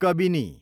Kabini